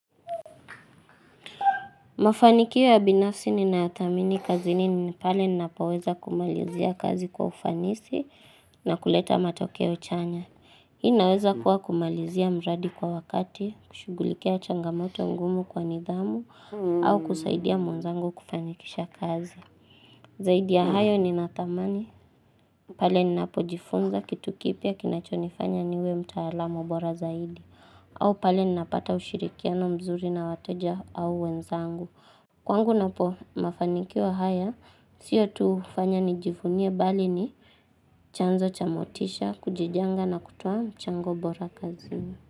Mafanikio ya binafsi ninayathamini kazini ni pale ninapoweza kumalizia kazi kwa ufanisi na kuleta matokeo chanya. Hii inaweza kuwa kumalizia mradi kwa wakati, kushughulikia changamoto ngumu kwa nidhamu, au kusaidia mwenzangu kufanikisha kazi. Zaidi ya hayo ni nathamani, pale ninapojifunza kitu kipya kinachonifanya niwe mtaalamu bora zaidi, au pale nina pata ushirikiano mzuri na wateja au wenzangu. Kwangu napo mafanikio haya, sio tufanya nijivunie bali ni chanzo chabmotisha, kujijenga na kutoa mchango bora kazini.